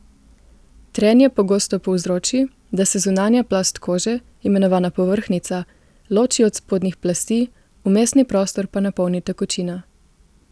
Trenje pogosto povzroči, da se zunanja plast kože, imenovana povrhnjica, loči od spodnjih plasti, vmesni prostor pa napolni tekočina.